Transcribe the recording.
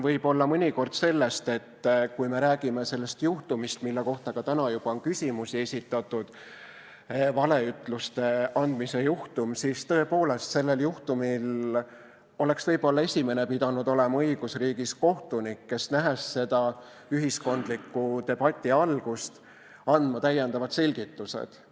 Võib-olla mõnikord sellest, et kui me räägime sellest juhtumist, valeütluste andmise juhtumist, mille kohta on täna ka juba küsimusi esitatud, siis tõepoolest oleks sellel juhtumil võib-olla esimene pidanud olema õigusriigis kohtunik, kes, nähes seda ühiskondliku debati algust, oleks pidanud andma täiendavad selgitused.